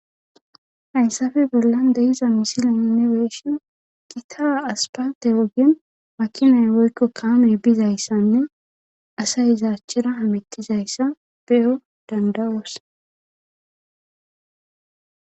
Haynsafe bollan deyiza misilainne weeshin kitaa aspate wogin makinay woykko kaame bizayssanne asay izaachchira hamittizayssa beyo dandawoos.